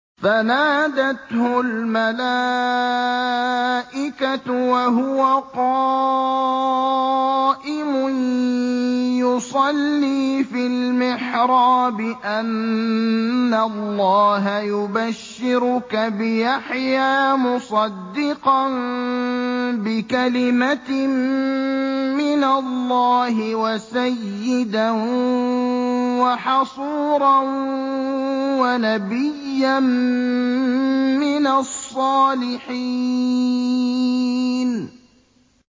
فَنَادَتْهُ الْمَلَائِكَةُ وَهُوَ قَائِمٌ يُصَلِّي فِي الْمِحْرَابِ أَنَّ اللَّهَ يُبَشِّرُكَ بِيَحْيَىٰ مُصَدِّقًا بِكَلِمَةٍ مِّنَ اللَّهِ وَسَيِّدًا وَحَصُورًا وَنَبِيًّا مِّنَ الصَّالِحِينَ